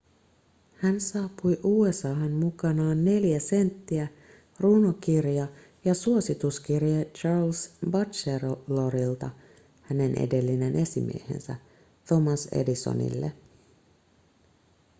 hän saapui usa:an mukanaan neljä senttiä runokirja ja suosituskirje charles batchelorilta hänen edellinen esimiehensä thomas edisonille